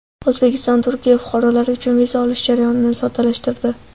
O‘zbekiston Turkiya fuqarolari uchun viza olish jarayonini soddalashtirdi.